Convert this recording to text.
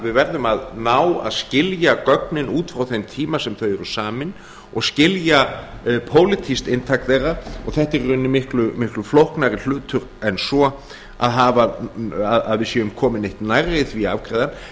við verðum að ná að skilja gögnin út frá þeim tíma sem þau eru samin og skilja pólitískt inntak þeirra þetta er í rauninni miklu flóknari hlutur en svo að við séum komin neitt nærri því að afgreiða